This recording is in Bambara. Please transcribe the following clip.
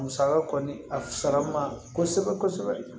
Musaka kɔni a fisara ma kosɛbɛ kosɛbɛ